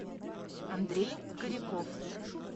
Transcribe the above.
андрей коряков